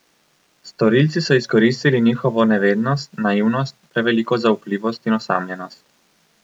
Storilci so izkoristili njihovo nevednost, naivnost, preveliko zaupljivost in osamljenost.